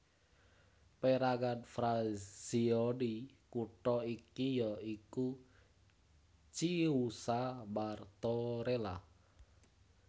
Pérangan frazioni kutha iki ya iku Chiusa Martorella